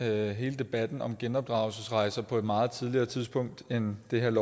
hele debatten om genopdragelsesrejser på et meget tidligere tidspunkt end det her